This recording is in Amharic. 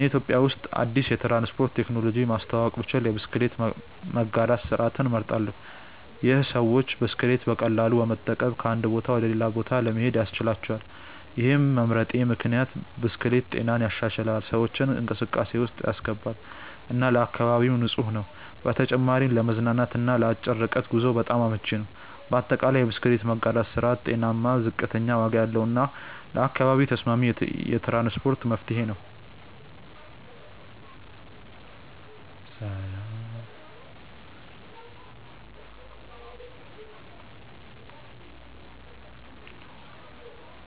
እኔ ኢትዮጵያ ውስጥ አዲስ የትራንስፖርት ቴክኖሎጂ ማስተዋወቅ ብችል የብስክሌት መጋራት ስርዓትን እመርጣለሁ። ይህ ሰዎች ብስክሌት በቀላሉ በመጠቀም ከአንድ ቦታ ወደ ሌላ ለመሄድ ያስችላቸዋል። ይህን መምረጤ ምክንያት ብስክሌት ጤናን ይሻሻላል፣ ሰዎችን እንቅስቃሴ ውስጥ ያስገባል እና ለአካባቢም ንፁህ ነው። በተጨማሪም ለመዝናናት እና ለአጭር ርቀት ጉዞ በጣም አመቺ ነው። በአጠቃላይ፣ የብስክሌት መጋራት ስርዓት ጤናማ፣ ዝቅተኛ ዋጋ ያለው እና ለአካባቢ ተስማሚ የትራንስፖርት መፍትሄ ነው።